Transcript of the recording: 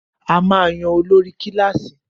A máa ń yan olórí kílàsì.